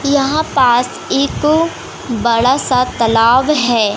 यहां पास एक बड़ा सा तालाब है।